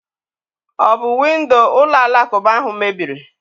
Ọ bụ windo ụlọ alakụba ahụ mebiri?